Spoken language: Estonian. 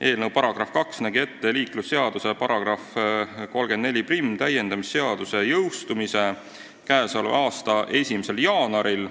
Eelnõu § 2 nägi ette liiklusseaduse § 341 täiendamise seaduse jõustumise k.a 1. jaanuaril.